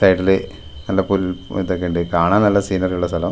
സൈഡില് നല്ല പുൽ തൊക്കെണ്ട് കാണാൻ നല്ല സീനറിയുള്ള സ്ഥലം.